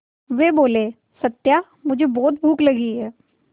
वे बोले सत्या मुझे बहुत भूख लगी है